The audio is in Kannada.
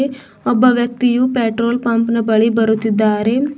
ಒಬ್ಬ ವ್ಯಕ್ತಿಯು ಪೆಟ್ರೋಲ್ ಪಂಪ್ನ ಬಳಿ ಬರುತ್ತಿದ್ದಾರೆ.